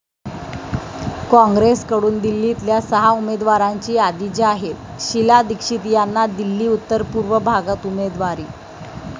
कॉंग्रेसकडून दिल्लीतल्या सहा उमेदवारांची यादी जाहीर, शीला दीक्षित यांना दिल्ली उत्तर पूर्व भागात उमेदवारी